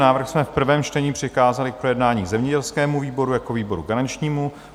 Návrh jsme v prvém čtení přikázali k projednání zemědělskému výboru jako výboru garančnímu.